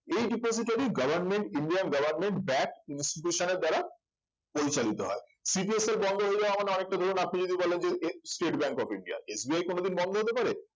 এই depository government indian government backed institution এর দ্বারা পরিচালিত হয় CDSL বন্ধ হয়ে যাওয়া মানে অনেকটা ধরুন আপনি যদি বলেন যে স্টেট ব্যাঙ্ক of ইন্ডিয়া যে কোনদিন বন্ধ হতে পারে